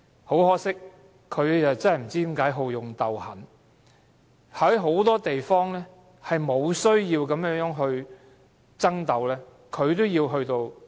可惜，不知何故，他竟好勇鬥狠，在許多不必要涉及爭鬥之處，他也要這樣做。